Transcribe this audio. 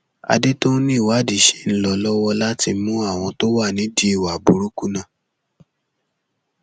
àdètòun ni ìwádìí ṣì ń lọ lọwọ láti mú àwọn tó wà nídìí ìwà burúkú náà